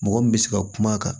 Mɔgɔ min bɛ se ka kuma a kan